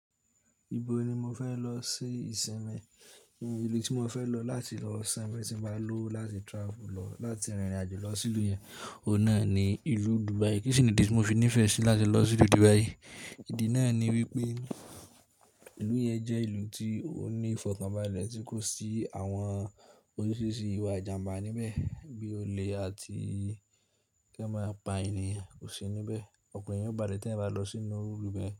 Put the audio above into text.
Ibo ni mo fẹ́ lọ sí ìsinmi? Ìlú tí mo fẹ́ lọ láti lọ sọ́ tí mo bá lọ́wo láti travel lọ láti rìnrìn àjò lọ sí ìlú yẹn? Òun náà ni ìlú dúbai. Kí ṣìní idí tí mo fi nífẹ̀ẹ́ sí láti lọ sí ìlú Dubai? Ìdí náà ni wípé ìlú yẹn jẹ́ ìlú tí ó ní ìfọ̀kànbalẹ̀ tí kò sí àwọn oríṣiríṣi ìwà ìjàǹbá níbẹ̀, bí olè àti kí ẹ máa pa ènìyàn kò sí níbẹ̀. Ọ̀kan eyan bále tẹ ẹ̀yan bá lọ sínú ìlú bẹ́ẹ̀.